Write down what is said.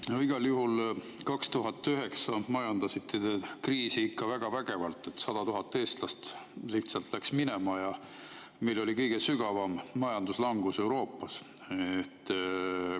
No igal juhul 2009 majandasite te kriisi ikka väga vägevalt: 100 000 eestlast lihtsalt läks minema ja meil oli kõige sügavam majanduslangus Euroopas.